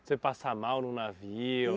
Você passar mal num navio?